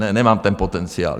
Ne, nemám ten potenciál.